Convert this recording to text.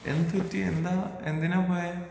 എന്തുപറ്റി ? എന്താ ? എന്തിനാ പോയേ?